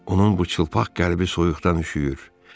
Onun bu çılpaq qəlbi soyuqdan üşüyür.